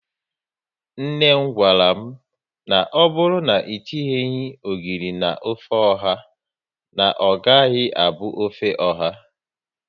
Nne m gwara m, na ọbụrụ na e tinyeghi ogiri na ofe ọha, na ọ gaghị abụ ofe oha